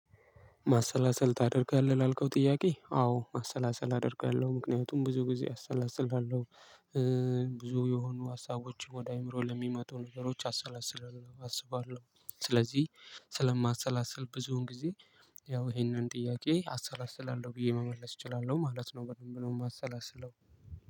ማሰላሰል ታደርጋለህ ላልከው ጥያቄ አዎ ማሰላሰል አደርጋለሁ ምክንያቱም ብዙ ጊዜ አሰላስልሃለሁ ብዙ የሆኑ ሀሳቦች ወደ አእምሮ ለሚመጡ ነገሮች አሰላስለው አስባለሁ። ስለዚህ ስለማሰላሰል ብዙም ጊዜ ያው ይሄንን ጥያቄ አሰላስላለሁ ብዬ መመለስ እችላለሁ ማለት ነው። በደንብ ነው የማሰላስለው።